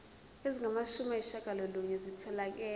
ezingamashumi ayishiyagalolunye zitholakele